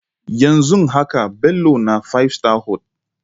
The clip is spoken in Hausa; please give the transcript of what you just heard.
Yanzun haka Bello na Five Star Hoel.